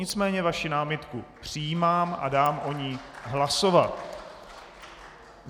Nicméně vaši námitku přijímám a dám o ní hlasovat.